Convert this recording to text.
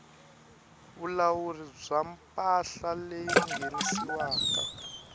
vulawuri bya mpahla leyi nghenisiwaku